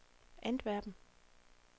Antwerpen